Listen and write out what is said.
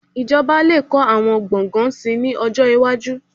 Ìjọba lè kọ́ àwọn gbọ̀ngàn síi ní ọjọ́ iwájú